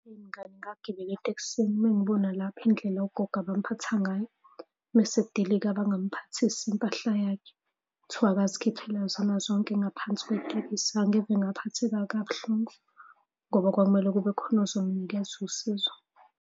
Eyi mngani ngagibela etekisini uma ngibona lapha indlela ugogo abamuphatha ngayo uma esedilika bangamuphathisi impahla yakhe. Kuthiwa akazikhiphele zona zonke ngaphansi kwetekisi. Angeve ngaphatheka kabuhlungu ngoba kwakumele kube khona ozomunikeza usizo.